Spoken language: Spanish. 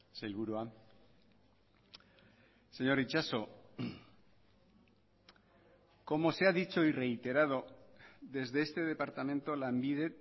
sailburua señor itxaso como se ha dicho y reiterado desde este departamento lanbide